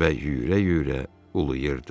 və yüyürə-yüyürə uluyurdu.